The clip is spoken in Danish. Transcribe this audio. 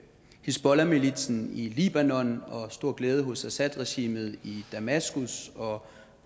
hizbollahmilitsen i libanon og stor glæde hos assadregimet i damaskus og